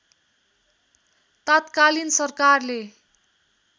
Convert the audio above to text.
तात्कालिन सरकारले